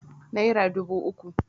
naira dubu uku